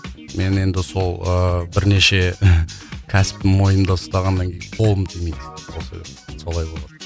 мен енді сол ыыы бірнеше кәсіпті мойнымда ұстағаннан кейін қолым тимейді сол себепті солай болады